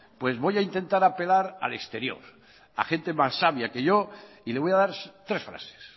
pues voy a intentar apelar al exterior a gente más sabia que yo y le voy a dar tres frases